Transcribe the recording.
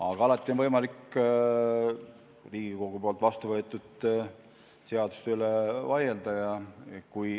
Aga alati on võimalik Riigikogus vastu võetud seaduste üle vaielda.